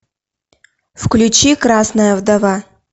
включи красная вдова